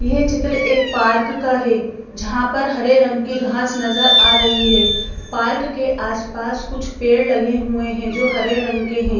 यह चित्र एक पार्क का है जहाँ पर हरे रंग की घास नजर आ रही है पार्क के आसपास कुछ पेड़ लगे हुए हैं जो हरे रंग के हैं।